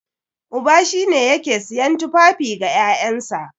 Uba shine yake siyan tufafi ga ƴaƴansa.